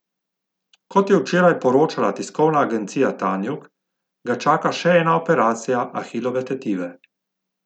Kot je včeraj poročala tiskovna agencija Tanjug, ga čaka še ena operacija ahilove tetive.